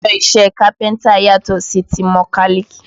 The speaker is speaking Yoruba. Aṣọ iṣẹ́ kápẹ́ntà yàtọ̀ sí ti mọ́kálìk